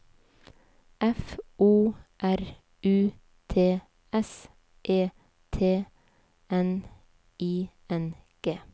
F O R U T S E T N I N G